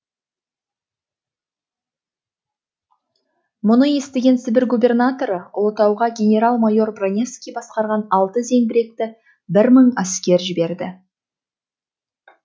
мұны естіген сібір губернаторы ұлытауға генерал майор броневский басқарған алты зеңбіректі бір мың әскер жібереді